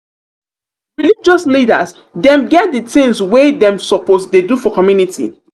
religious leaders dem get di tins wey dem suppose dey do for community.